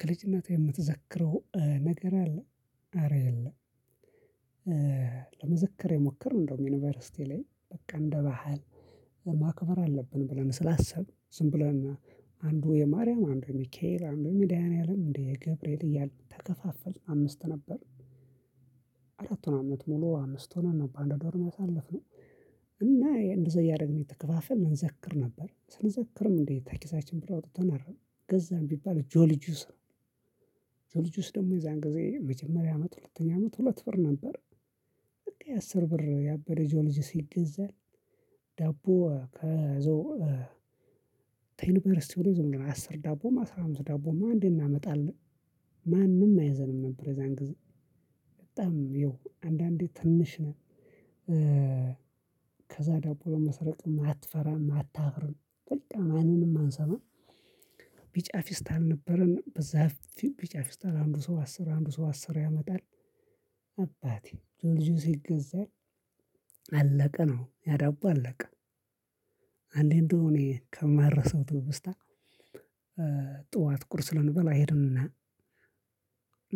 ከልጅነቴ የምትዘክረው ነገር አለ አረ የለም። ለመዝክር የሞከርን እንደውም ዩኒቨርሲቲ ላይ በቃ እንደ ባህል ማክበር አለብን ብለን ስላሰብን ዝም ብለን አንዱ የማርያም አንዱ የሚካኤል አንዱ የመዳንህያአለም አንዱ የገብርኤል እያልን ተከፋፈልን አምስት ነበር። አራቱን አመት ሙሉ አምስት ሆነን ነው በአንድ ዶርም ያሳለፍነው። እና እንደዚህ እያደረግን የተከፋፈልን እንዘክር ነበር ስንዘክርም እንዴ ከኪሳችን ብር አውጥተን አረን ገዛንም ቢባል ጆልጁስ ነው። ጆልጁስ ደግሞ የዛን ጊዜ መጀመሪያ አመት ሁለተኛ አመት ሁለት ብር ነበር። አስር ብር ያበደ ጂኦሎጂ ይገዛል። ዳቦ ከዛው ከዩኒቨርሲቲው ላይ ዝም ብሎ አስር ዳቦም አስራ አምስት ዳቦም አንዴ እናመጣለን። ማንም አይዘንም ነበር የዛን ጊዜ በጣም ይኸው አንዳንዴ ትንሽ ነን። ከዛ ዳቦም መስረቅ ማትፈራም ማታፍርም በጣም ማንንም አንሰማም። ቢጫ ፊስታል ነበረን በዛ ቢጫ ፊስታል አንዱ ሰው አስር አንዱ ሰው አስር ያመጣል። አባቴ ጆልጂዮስ ይገዛ አለቀ ነው ያዳቡ አለቀ። አንዴ እንደው እኔ ከማረሳው ትውስታ። ጠዋት ቁርስ ልንበላ ሄድንና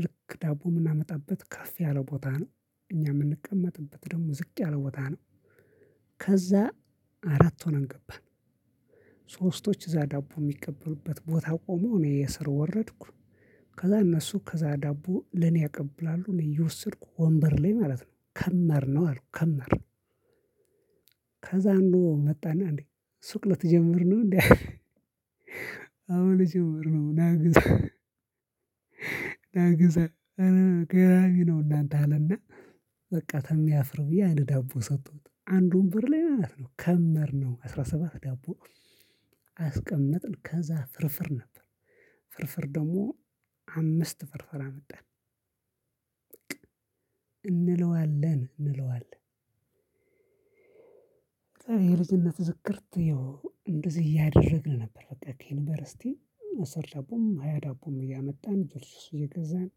ልክ ዳቦ ምናመጣበት ከፍ ያለ ቦታ ነው። እኛ ምንቀመጥበት ደግሞ ዝቅ ያለ ቦታ ነው። ከዛ አራት ሆነን ገባን። ሶስቶች እዛ ዳቦ የሚቀበሉበት ቦታ ቆመው እኔ የስር ወረድኩ። ከዛ እነሱ ከዛ ዳቦ ለኔ ያቀብላሉ እኔ እየወሰድኩ ወንበር ላይ ማለት ነው ከመር ነው አልኩ ከመር። ከዛ አንዱ መጣና እንዴ ሱቅ ልትጀምሩ ነው እንዴ? አሁን ልጀምር ነው ና ግዛ። ና ግዛ እረ ገራሚ ነው። እናንተ አለና በቃ ተሚያፍር ብዬ አንድ ዳቦ ሰጡት አንዱ ወንበር ላይ ማለት ነው ከመርነው አስራ ሰባት ዳቦ። አስቀመጥን ከዛ ፍርፍር ነበር። ፍርፍር ደግሞ አምስት ፍርፍር አመጣን። እንለዋለን እንለዋለን። የልጅነት ዝክርት ይኸው እንደዚህ እያደረግን ነበር። በቃ ዩኒቨርሲቲ እሰር ዳቦም ሃያ ዳቦም እያመጣን ድርስ ይገዛል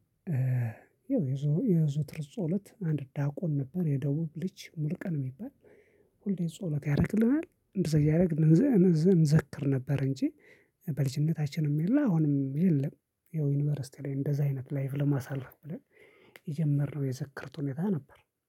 የዘውትር ጸሎት አንድ ዳቆን ነበር የደቡብ ልጅ ሙሉቀን የሚባል። ሁሌ ጸሎት ያደርግልናል እንደዚህ እያደረግን እንዘክር ነበር። እንጂ በልጅነታችንም የለም አውንም የለም። ያው ዩኒቨርስቲ ላይ እደዚ አይነት ላይፍ ለማሳለፍ ብለን የጀመርነው የዝክርት ሁኔታ ነበር።